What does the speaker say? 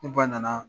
Ne ba nana